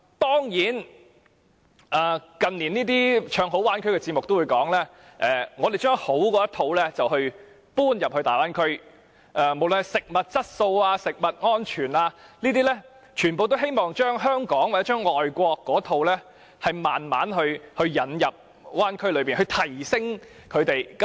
當然，近年唱好大灣區的節目會指出，他們會把好的一套搬入大灣區，無論是食物質素或食物安全，他們皆希望把香港或外國的一套逐漸引入大灣區，並加以提升。